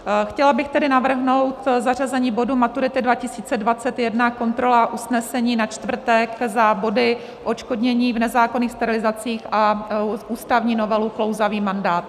Chtěla bych tedy navrhnout zařazení bodu Maturity 2021 - kontrola usnesení na čtvrtek za body odškodnění v nezákonných sterilizacích a ústavní novelu - klouzavý mandát.